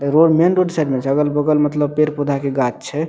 Road main road side में छै अगल-बगल मतलब पेड़-पौधा के गाछ छै।